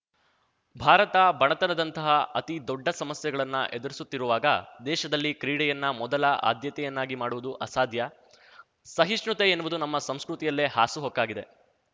ಭಾರತ ಬಡತನದಂತಹ ಅತಿದೊಡ್ಡ ಸಮಸ್ಯೆಗಳನ್ನ ಎದುರಿಸುತ್ತಿರುವಾಗ ದೇಶದಲ್ಲಿ ಕ್ರೀಡೆಯನ್ನ ಮೊದಲ ಆದ್ಯತೆಯನ್ನಾಗಿ ಮಾಡುವುದು ಅಸಾಧ್ಯ ಸಹಿಷ್ಣುತೆ ಎನ್ನುವುದು ನಮ್ಮ ಸಂಸ್ಕೃತಿಯಲ್ಲೇ ಹಾಸುಹೊಕ್ಕಾಗಿದೆ